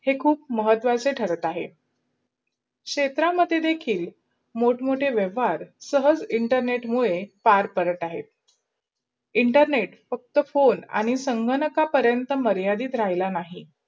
हे खूप महत्वाचे ठरत अहे. क्षेत्रा मध्ये देखील मोठ मोठे वाहवार, सहस internet मूढे फार परत अहे. इंटरनेट फक्त फोन आणी संगणकान्परन्त् मर्यादी राहिला नही.